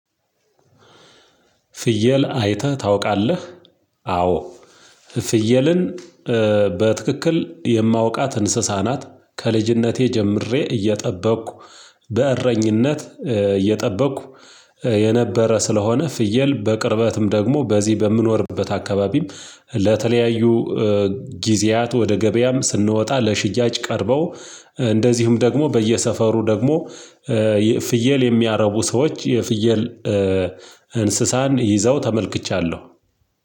ፍየል አይተህ ታውቃለህ? አዎ ፍየልን በትክክል የማውቃት እንስሳ ናት። ከልጅነቴ ጀምሬ እየጠበቅኩ በእረኝነት እየጠበቅኩ የነበረ። ስለሆነ ፍየል በቅርበትም ደግሞ በዚህ በምኖርበት አካባቢም። ለተለያዩ ጊዜያት ወደ ገበያም ስንወጣ ለሽያጭ ቀርበው። ደግሞ በየሰፈሩ ደግሞ ፍየል የሚያረቡ ሰዎች የፍየል እንስሳን ይዘው ተመልክቻለሁ።